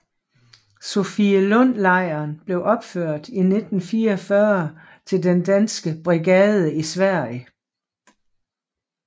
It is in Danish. Sofielundlejren blev opført i 1944 til den danske brigade i Sverige